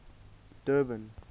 durban